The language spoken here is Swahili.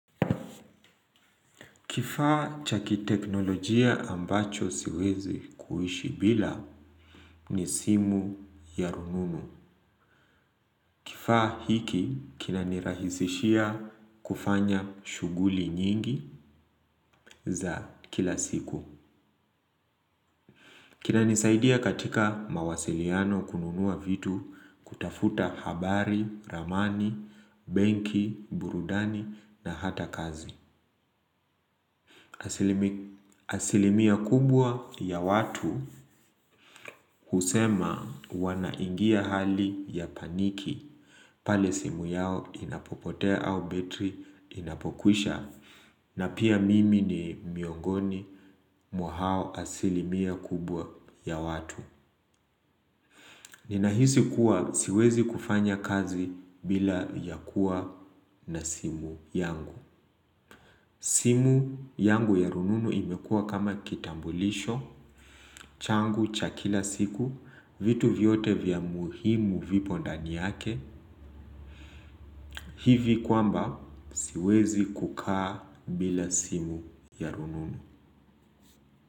Kifaa cha kiteknolojia ambacho siezi kuishi bila ni simu ya rununu. Kifaa hiki kina nirahisishia kufanya shuguli nyingi za kila siku. Kina nisaidia katika mawasiliano kununua vitu kutafuta habari, ramani, benki, burudani na hata kazi. Aslimia kubwa ya watu husema wanaingia hali ya paniki pale simu yao inapopotea au betri inapokwisha na pia mimi ni miongoni mwa hao asilimia kubwa ya watu. Ninahisi kuwa siwezi kufanya kazi bila ya kuwa na simu yangu. Simu yangu ya rununu imekua kama kitambulisho, changu cha kila siku, vitu vyote vya muhimu vipo ndani yake. Hivi kwamba siwezi kukaa bila simu ya rununu.